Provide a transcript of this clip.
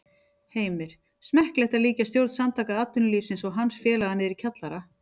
Heimir: Smekklegt að líkja stjórn Samtaka atvinnulífsins og hans félaga niðri í kjallara?